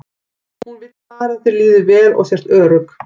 Hún vill bara að þér líði vel og sért örugg.